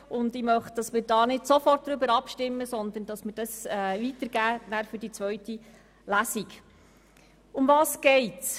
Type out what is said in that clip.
Zudem möchte ich, dass wir jetzt nicht inhaltlich über meinen Antrag abstimmen, sondern ihn in die Kommission geben für die Vorberatung der zweiten Lesung.